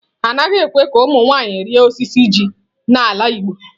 Anaghị ekwe ka ụmụ nwanyị rịa osisi oji n'ala igbo.